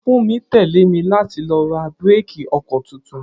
Funmi tẹ́lé mi láti lọ ra bíréékì ọkọ tuntun.